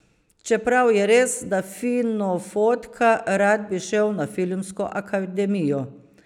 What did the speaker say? Čeprav je res, da fino fotka, rad bi šel na Filmsko akademijo.